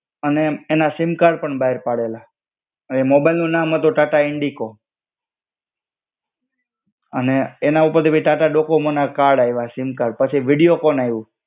અને એના sim card પણ બહાર પાડેલા. એ મોબાઈલ નું નામ હતું ટાટા ઈન્ડિગો. અને એના ઉપરથી ભી ટાટા ડોકોમો ના કાર્ડ ઐવા, સિમ કાર્ડ. પછી વીડિયોકોન એવું.